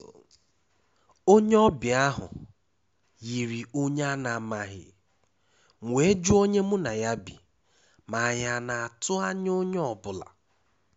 Onye ọbịa ahụ yiri onye a na-amaghị, m wee jụọ onye mụ na ya bi ma anyị na-atụ́ anya onye ọ bụla.